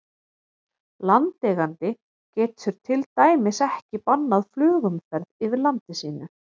Landeigandi getur til dæmis ekki bannað flugumferð yfir landi sínu.